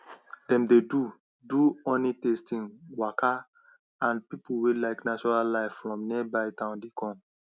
dem dey do do honeytasting waka and people wey like natural life from nearby town dey come